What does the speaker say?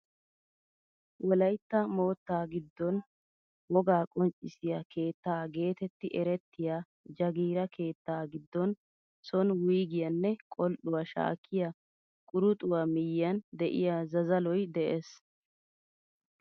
Wolaytta moottaa giddon wogaa qonccisiyaa keettaa getetti erettiyaa jagiira keettaa giddon soni wuygiyaanne qol"uwaa shaakkiyaa quruxuwaa miyiyaan de'iyaa zazaloy de'ees.